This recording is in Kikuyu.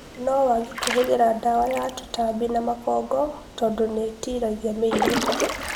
No wage kũhũthĩra dawa ya tũtambi na makongo tondũ nĩĩtilagia mĩrimũ